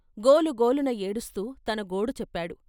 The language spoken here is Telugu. గోలు గోలున ఏడుస్తూ తన గోడు చెప్పాడు.